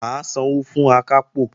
Mà á sanwó fún Akápò